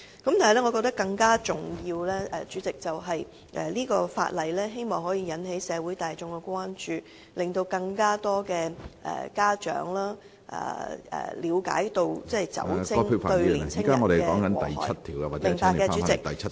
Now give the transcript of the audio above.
但是，主席，我覺得更重要的是，這項《條例草案》可以引起社會大眾的關注，令更多家長了解到酒精會對青年人造成的禍害......